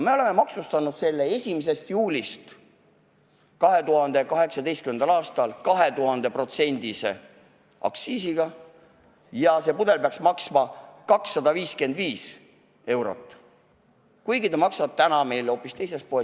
1. juulist 2018 oleme me maksustanud selle 2000%-lise aktsiisiga, nii et see pudel peaks maksma 255 eurot, kuigi ta maksab meil täna hoopis 15 eurot.